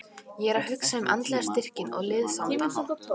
Ég er að hugsa um andlega styrkinn og liðsandann.